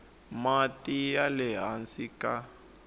mati ya le hansi ka